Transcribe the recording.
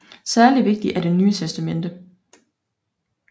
Særligt vigtig er Det Nye Testamente